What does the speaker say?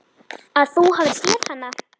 Að þú hafir séð hana?